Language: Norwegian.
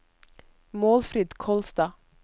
Målfrid Kolstad